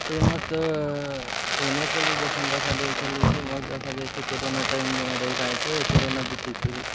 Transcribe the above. ए मस्त अ एने पली जेसन देखा देछे लेकि मस्त देखा देछे कोरोना टाइम रे काए तो ए कोरोना बीति कर --